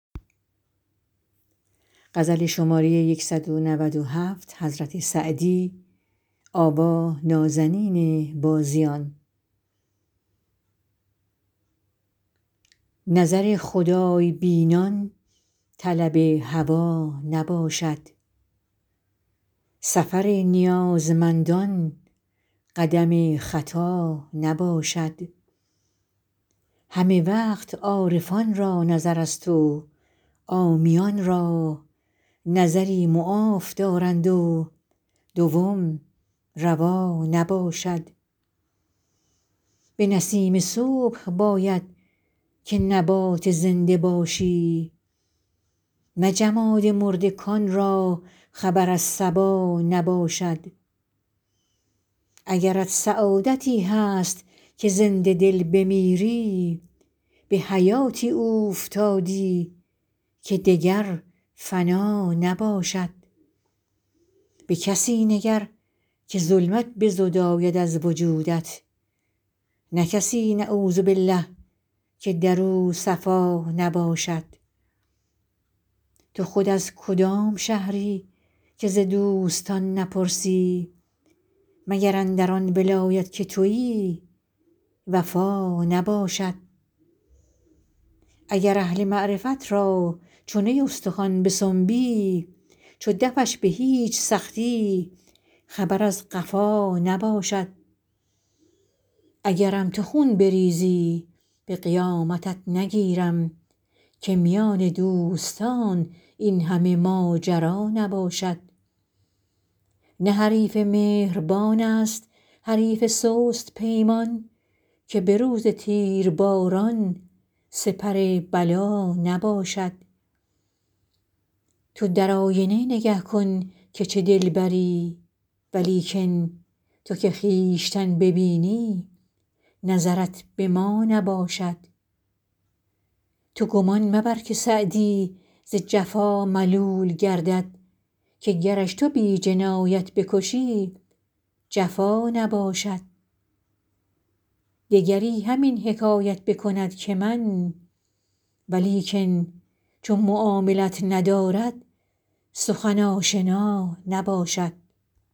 نظر خدای بینان طلب هوا نباشد سفر نیازمندان قدم خطا نباشد همه وقت عارفان را نظرست و عامیان را نظری معاف دارند و دوم روا نباشد به نسیم صبح باید که نبات زنده باشی نه جماد مرده کان را خبر از صبا نباشد اگرت سعادتی هست که زنده دل بمیری به حیاتی اوفتادی که دگر فنا نباشد به کسی نگر که ظلمت بزداید از وجودت نه کسی نعوذبالله که در او صفا نباشد تو خود از کدام شهری که ز دوستان نپرسی مگر اندر آن ولایت که تویی وفا نباشد اگر اهل معرفت را چو نی استخوان بسنبی چو دفش به هیچ سختی خبر از قفا نباشد اگرم تو خون بریزی به قیامتت نگیرم که میان دوستان این همه ماجرا نباشد نه حریف مهربان ست حریف سست پیمان که به روز تیرباران سپر بلا نباشد تو در آینه نگه کن که چه دلبری ولیکن تو که خویشتن ببینی نظرت به ما نباشد تو گمان مبر که سعدی ز جفا ملول گردد که گرش تو بی جنایت بکشی جفا نباشد دگری همین حکایت بکند که من ولیکن چو معاملت ندارد سخن آشنا نباشد